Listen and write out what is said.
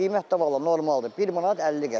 Qiymət də vallah normaldır, bir manat 50 qəpik.